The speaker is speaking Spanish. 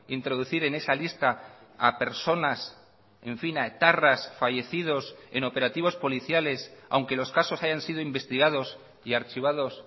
introducir en esa lista a personas en fin a etarras fallecidos en operativos policiales aunque los casos hayan sido investigados y archivados